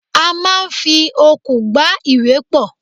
A máa ń fi okùn gbá ìwé pọ̀.